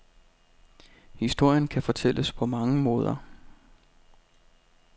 Historien kan fortælles på mange måder.